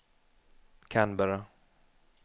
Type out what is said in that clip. Canberra